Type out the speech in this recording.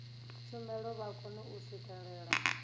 tshumelo vha kone u swikelela